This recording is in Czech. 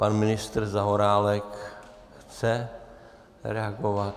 Pan ministr Zaorálek chce reagovat?